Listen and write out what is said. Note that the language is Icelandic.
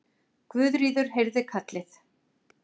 Guðríður heyrði kallið.